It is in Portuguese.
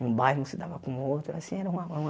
Num bairro não se dava com o outro. Assim era uma uma